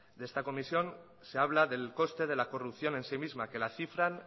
de esta comisión se habla del coste de la corrupción en sí misma que la cifran